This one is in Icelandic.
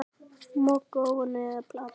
Moka ofan í eða planta?